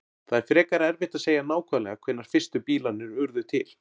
Það er frekar erfitt að segja nákvæmlega hvenær fyrstu bílarnir urðu til.